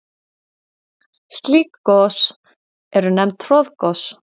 Slík gos eru nefnd troðgos.